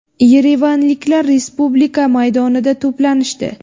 Yerevanliklar Respublika maydonida to‘planishdi.